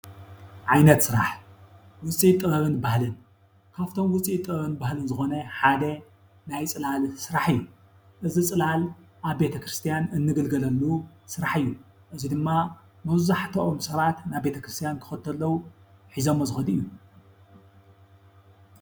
ዓይነት ስራሕ ውፅኢት ጥበብን ባህልን ዝኮነ ካብቶም ውፅኢት ባህልን ጥበብን ዝኮነ ሓደ ናይ ፅላል ስራሕ እዩ። እዚ ፅላል አብ ቤተክርስቲያን እንግልገለሉ ስራሕ እዩ። እዙይ ድማ መብዛሕቶም ሰባት ናብ ቤተክርስቲያን ዝከዱ ዘለው ሒዘሞ ዝኩዱ እዩ።